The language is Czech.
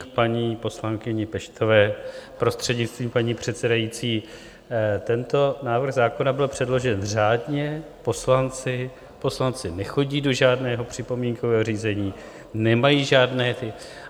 K paní poslankyni Peštové, prostřednictvím paní předsedající: tento návrh zákona byl předložen řádně, poslanci nechodí do žádného připomínkového řízení, nemají žádné ty...